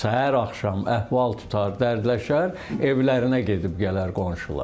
Səhər-axşam əhval tutar, dərdləşər, evlərinə gedib gələr qonşular.